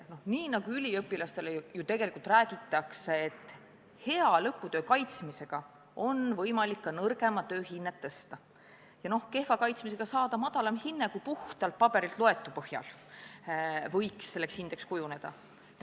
Üliõpilastele ikka räägitakse, et lõputöö hea kaitsmisega on võimalik nõrgema töö hinnet tõsta, kehva kaitsmisega aga võib saada madalama hinde, kui puhtalt paberilt loetu põhjal võiks hindeks kujuneda.